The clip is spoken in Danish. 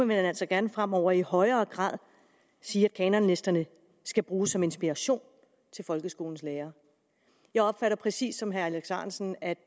man altså gerne fremover i højere grad sige at kanonlisterne skal bruges som inspiration til folkeskolens lærere jeg opfatter præcis som herre alex ahrendtsen at